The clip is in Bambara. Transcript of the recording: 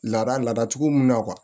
Lada ladacogo mun na